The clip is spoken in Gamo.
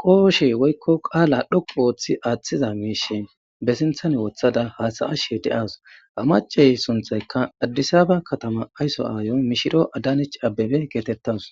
qooshey woykko qaala dhoqu wooththi aaththiza miishe ba sinthan wothada haasaashe de7as amacey sunthaykka addisaba katama aysso aayoy mishiro adanich abbebe geetettas